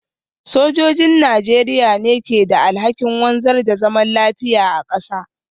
Sojojin Najeriya ne ke da alhakin wanzar da zaman lafiya a kasa.